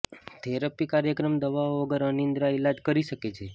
therapy કાર્યક્રમ દવાઓ વગર અનિદ્રા ઇલાજ કરી શકે છે